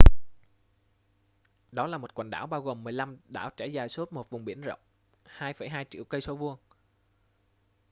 đó là một quần đảo bao gồm 15 đảo trải dài suốt một vùng biển rộng 2,2 triệu cây số vuông